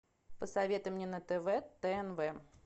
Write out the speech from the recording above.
посоветуй мне на тв тнв